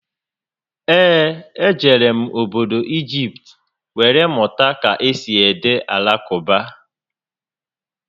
Ee, e jere m obodo Igipt were mụta ka esi ede Alakụba